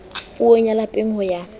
puong ya lapeng ho ya